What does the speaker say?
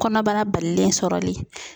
Kɔnɔbara balilen sɔrɔli.